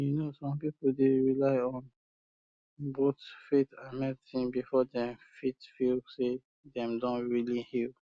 you know some people dey rely on on both faith and medicine before dem fit feel say dem don really heal